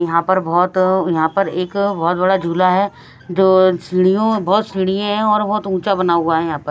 यहां पर बहोत यहां पर एक बहोत बड़ा झूला है जो सीढ़ियो बहोत सीढ़ीये है और बहोत ऊंचा बना हुआ है यहा प--